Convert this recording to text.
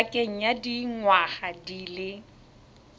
pakeng ya dingwaga di le